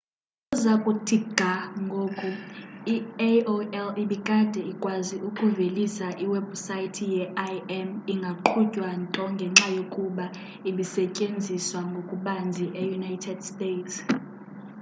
ukuza kuthi ga ngoku i-aol ibikade ikwazi ukuvelisa iwebhusayithi ye-im ingaqhutywa nto ngenxa yokuba ibisetyenziswa ngokubanzi eunited states